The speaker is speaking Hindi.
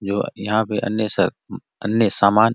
जो यहाँ पे अन्य स अन्य सामान --